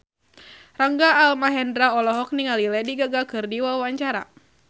Rangga Almahendra olohok ningali Lady Gaga keur diwawancara